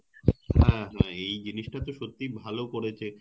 হ্যাঁ হ্যাঁ এই জিনিস টা তো সত্যি ভালো করেছে